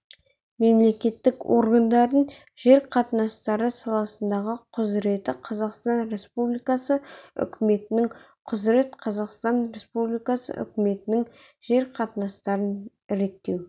мемлекеттік органдардың жер қатынастары саласындағы құзыреті қазақстан республикасы үкіметінң құзырет қазақстан республикасы үкіметінң жер қатынастарын реттеу